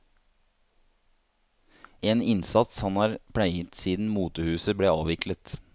En innsats han har pleiet siden motehuset ble avviklet.